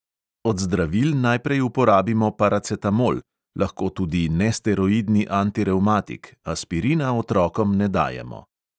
Od zdravil najprej uporabimo paracetamol, lahko tudi nesteroidni antirevmatik, aspirina otrokom ne dajemo.